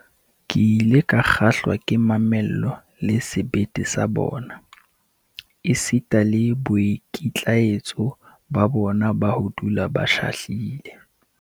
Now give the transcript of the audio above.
Ke ile ka kgahlwa ke mamello le sebete sa bona, esita le boikitlaetso ba bona ba ho dula ba shahlile.